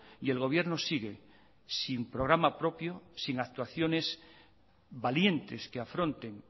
y el gobierno sigue sin programa propio sin actuaciones valientes que afronten